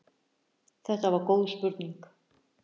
Þetta var góð spurning.